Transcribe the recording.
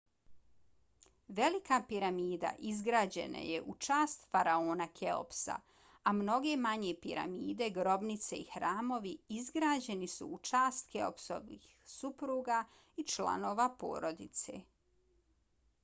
velika piramida izgrađena je u čast faraona keopsa a mnoge manje piramide grobnice i hramovi izgrađeni su u čast keopsovih supruga i članova porodice